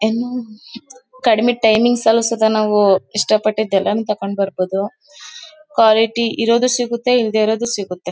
ಇನ್ನು ಕಡಿಮೆ ಟೈಮಿಂಗ್ಸ್ ಅಲ್ಲಿ ಸೂತನು ನಾವು ಇಷ್ಟ ಪಟ್ಟಿದು ಎಲ್ಲಾನು ತಗೊಂಡ್ಬಾರಬಹುದು ಕ್ವಾಲಿಟಿ ಇರೋದು ಸಿಗುತ್ತೆ ಇಲ್ದೆ ಇರೋದು ಸಿಗುತ್ತೆ